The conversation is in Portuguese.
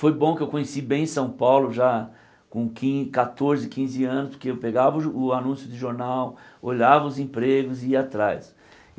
Foi bom que eu conheci bem São Paulo já com quin catorze, quinze anos, porque eu pegava o jo o anúncio de jornal, olhava os empregos e ia atrás.